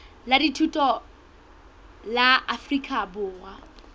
la dithuto la afrika borwa